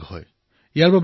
সজাগতা বৃদ্ধি কৰক